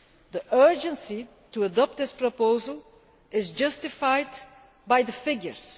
The urgency to adopt this proposal is justified by the figures.